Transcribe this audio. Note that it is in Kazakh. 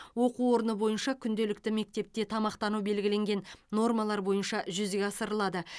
оқу орны бойынша күнделікті мектепте тамақтану белгіленген нормалар бойынша жүзеге асырылады